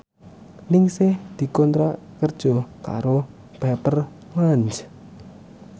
Ningsih dikontrak kerja karo Pepper Lunch